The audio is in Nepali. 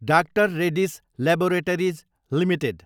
DR Reddy's laboratories Ltd